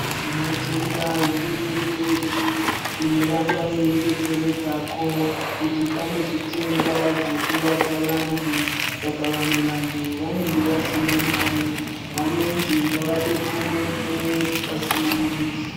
Tinotenda hurumende yedu inoramba yeidetseredzako, kuti pane zvitenda zvokuvadza vantu. Saka vamwe vantu vanenge vasina mare, vanonzi ngavadetsereke pasina muduso.